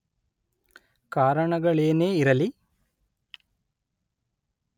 ಕಾರಣಗಳೇನೇ ಇರಲಿ